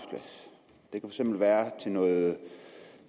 det kan være til noget